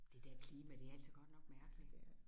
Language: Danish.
Det der er klima det er altså godt nok mærkeligt